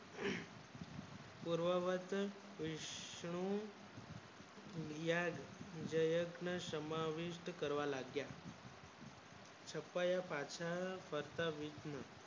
બોલવા માટે શ્રુ મીયાદ જરાક ને સમાવિષ્ટ કરવા લાગ્યા છતાં એ પાછા ફરતા વિષ્ણુ